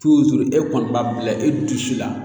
e kɔni b'a bila e dusu la